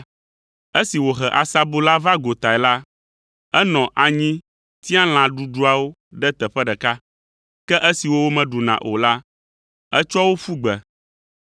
Esi wòhe asabu la va gotae la, enɔ anyi tia lã ɖuɖuawo ɖe teƒe ɖeka, ke esiwo womeɖuna o la, etsɔ wo ƒu gbe.